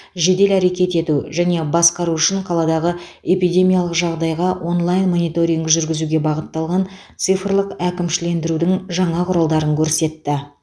жедел әрекет ету және басқару үшін қаладағы эпидемиялық жағдайға онлайн мониторинг жүргізуге бағытталған цифрлық әкімшілендірудің жаңа құралдарын көрсетті